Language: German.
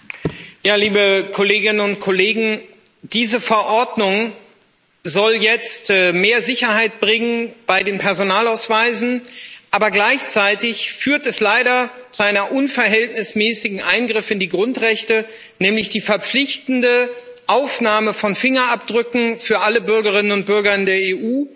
Herr Präsident! Liebe Kolleginnen und Kollegen, diese Verordnung soll jetzt mehr Sicherheit bringen bei den Personalausweisen, aber gleichzeitig führt sie leider zu einem unverhältnismäßigen Eingriff in die Grundrechte, nämlich der verpflichtenden Aufnahme von Fingerabdrücken für alle Bürgerinnen und Bürger in der EU.